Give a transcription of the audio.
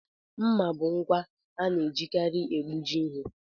Mmà bụ ngwa ana-ejikarị egbuji ihe.